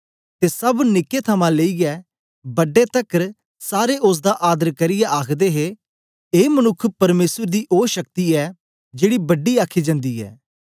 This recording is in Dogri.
ते सब निके थमां लेईयै बड्डे तकर सारे ओसदा आदर करियै आखदे हे ए मनुक्ख परमेसर दी ओ शक्ति ऐ जेदी बड़ी आखी जंदी ऐ